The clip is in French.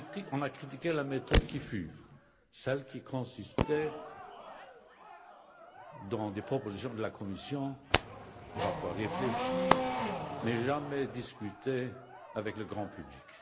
On a critiqué la méthode qui fut, celle qui consistait en des propositions de la Commission parfois réfléchies mais jamais discutées avec le grand public.